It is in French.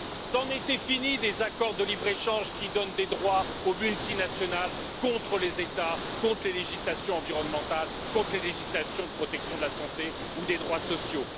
C'en était fini des accords de libre échange qui donnent des droits aux multinationales contre les États, contre les législations environnementales, contre les législations de protection de la santé ou des droits sociaux.